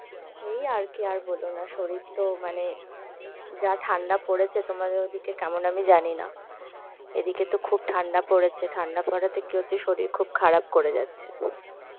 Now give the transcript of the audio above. এই আর কি, আর বলো না, শরীর তো মানে যা ঠান্ডা পরেছে তোমাদের ওদিকে কেমন আমি জানি না, এদিকে তো খুব ঠান্ডা পরেছে ঠান্ডা পড়াতে কি হচ্ছে শরীর খুব খারাপ করে যাচ্ছে.